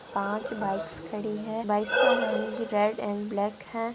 पांच बाइक्स खड़ी है बाइक्स का रंग रेड एंड ब्लैक है।